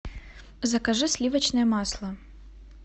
закажи сливочное масло